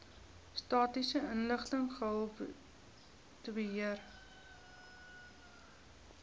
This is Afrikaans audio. statistiese inligting gehaltebeheer